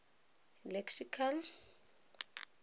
lexical